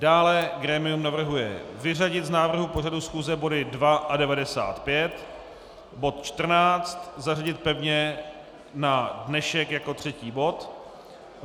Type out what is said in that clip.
Dále grémium navrhuje vyřadit z návrhu pořadu schůze body 2 a 95, bod 14 zařadit pevně na dnešek jako třetí bod.